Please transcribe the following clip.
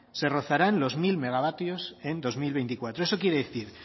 se rozarán los mil megavatios en dos mil veinticuatro eso quiere decir